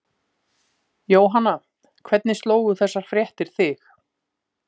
Jóhanna, hvernig slógu þessar fréttir þig?